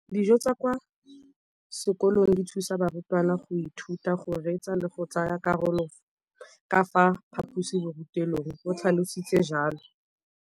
Dijo tsa kwa sekolong dithusa barutwana go ithuta, go reetsa le go tsaya karolo ka fa phaposiborutelong, o tlhalositse jalo.